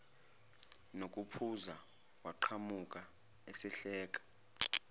nokuphuza waqhamuka esehleka